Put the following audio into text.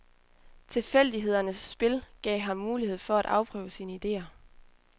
Tilfældighedernes spil gav ham mulighed for at afprøve sine idéer.